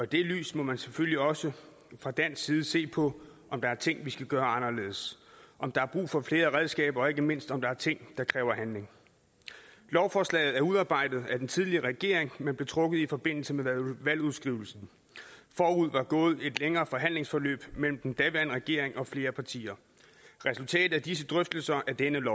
det lys må man selvfølgelig også fra dansk side se på om der er ting vi skal gøre anderledes om der er brug for flere redskaber og ikke mindst om der er ting der kræver handling lovforslaget er udarbejdet af den tidligere regering men blev trukket i forbindelse med valgudskrivelsen forud var gået et længere forhandlingsforløb mellem den daværende regering og flere partier resultatet af disse drøftelser er dette